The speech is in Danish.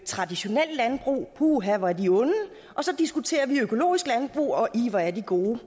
traditionelt landbrug puha hvor er de onde og så diskuterer vi økologisk landbrug og ih hvor er de gode